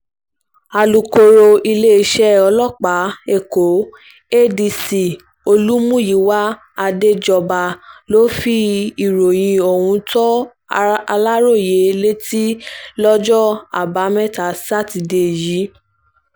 alūkọ̀rọ̀ iléeṣẹ́ ọlọ́pàá èkó adc olùmúyíwá àdéjọba ló fi ìròyìn ohun tó aláròye létí lọ́jọ́ àbámẹ́ta sátidé yìí